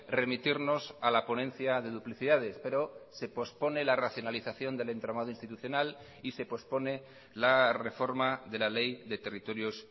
remitirnos a la ponencia de duplicidades pero se pospone la racionalización del entramado institucional y se pospone la reforma de la ley de territorios